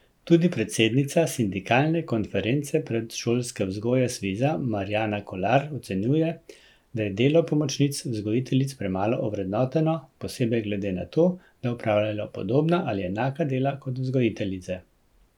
Tudi predsednica sindikalne konference predšolske vzgoje Sviza Marjana Kolar ocenjuje, da je delo pomočnic vzgojiteljic premalo ovrednoteno, posebej glede na to, da opravljajo podobna ali enaka dela kot vzgojiteljice.